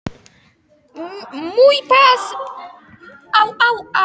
Hár og mjór maður með gleraugu stóð við grindverkið.